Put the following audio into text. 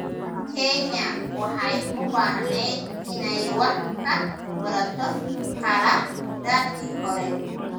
Kenya waxay u baahnayd inay wax ka barato khaladaadkii hore.